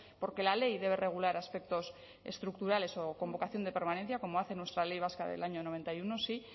porque la ley debe regular aspectos estructurales o con vocación de permanencia como hace nuestra ley vasca del año noventa y uno sí